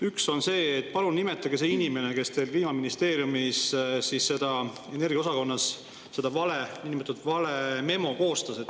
Üks on see, et palun nimetage see inimene, kes teil Kliimaministeeriumis energiaosakonnas selle niinimetatud vale memo koostas.